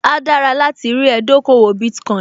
Áá dára láti rí ẹ dókòwò Bitcoin